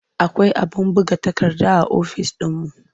Akwai abin buga takarda a ofis ɗinmu.